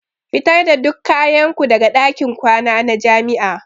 Fitar da duk kayan ku daga ɗakin kwana na jami'a.